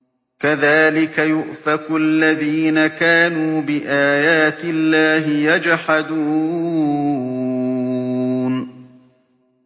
كَذَٰلِكَ يُؤْفَكُ الَّذِينَ كَانُوا بِآيَاتِ اللَّهِ يَجْحَدُونَ